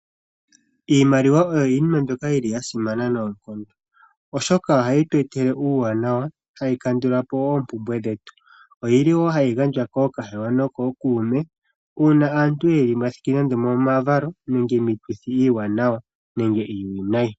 Iimaliwa oyo iinima mbyoka yili ya simana noonkondo oshoka ohayi tu etele uuwanawa tayi kandulapo wo oompumbwe dhetu oyili wo hayi gandjwa koohahewa nokookuume uuna aantu yeli momavalo nenge miituthi iiwanawa nenge iiwinayi.